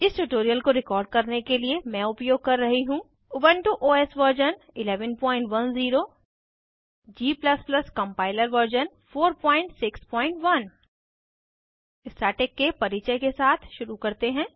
इस ट्यूटोरियल को रिकॉर्ड करने के लिए मैं उपयोग कर रही हूँ Ubuntu OS version 1110 g compiler version 461 static के परिचय के साथ शुरू करते हैं